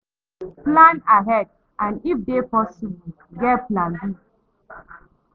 Plan ahead and if e dey possible, get plan B